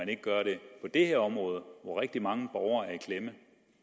kan gøre det på det her område hvor rigtig mange borgere